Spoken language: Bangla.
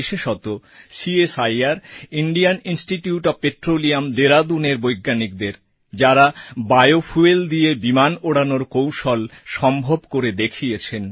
বিশেষত CSIR Indian institute of petroleum Dehradunএর বৈজ্ঞানিকদের যাঁরা বায়োফুয়েল দিয়ে বিমান ওড়ানোর কৌশল সম্ভব করে দেখিয়েছেন